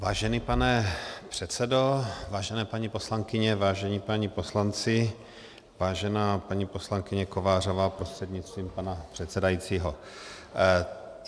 Vážený pane předsedo, vážené paní poslankyně, vážení páni poslanci, vážená paní poslankyně Kovářová prostřednictvím pana předsedajícího.